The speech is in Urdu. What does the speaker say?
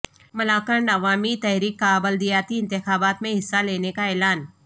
ملاکنڈ عوامی تحریک کا بلدیاتی انتخابات میں حصہ لینے کا اعلان